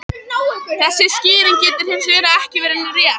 Þessi skýring getur hins vegar ekki verið rétt.